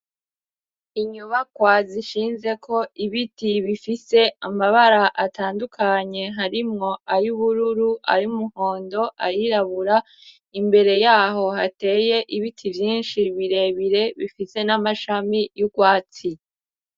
Inyubakwa zishinze ko ibiti bifise amabara atandukanye harimwo ay'ubururu ay'umuhondo, ayirabura imbere yaho hateye ibiti vyinshi birebire bifite n'amashami y'ugwatsi.